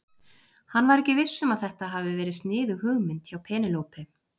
Hann var ekki viss um að þetta hafi verið sniðug hugmynd hjá Penélope.